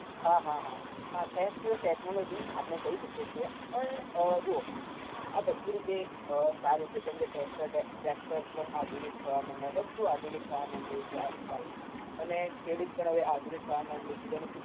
હા હા હા હા thanks to technology આપણે કહી શકીએ છીએ પણ અમ જુઓ આ બધી રીતે અમ સારું છે જેમ કે tractor tractors પણ આધુનિક થવા મંડ્યા, બધું આધુનિક થવા માંડ્યું છે આજકાલ અને ખેડૂત પણ હવે આધુનિક થવા મંડ્યો છે તેનું ઉત